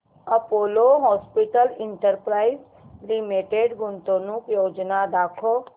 Apollo Hospitals Enterprise Limited गुंतवणूक योजना दाखव